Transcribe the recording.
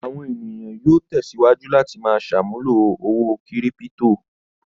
Àwọn ènìyàn yóò tẹ̀síwájú láti máa ṣàmúlò owó kírípító.